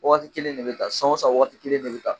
Waati kelen de bɛ ta san o san waati kelen de bɛ ta